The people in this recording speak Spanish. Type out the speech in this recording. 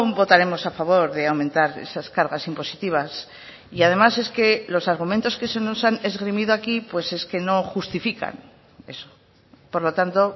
votaremos a favor de aumentar esas cargas impositivas y además es que los argumentos que se nos han esgrimido aquí pues es que no justifican eso por lo tanto